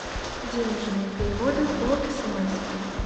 денежные переводы по смс